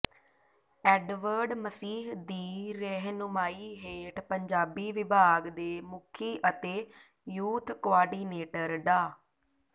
Edward Masih ਦੀ ਰਹਿਨੁਮਾਈ ਹੇਠ ਪੰਜਾਬੀ ਵਿਭਾਗ ਦੇ ਮੁਖੀ ਅਤੇ ਯੂਥ ਕੁਆਰਡੀਨੇਟਰ ਡਾ